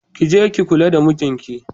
Ki je ki kula da mijinki.